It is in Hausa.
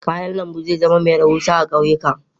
Kayan lambu zai zama mai rahusa a kauyuka.